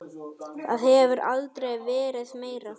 Það hefur aldrei verið meira.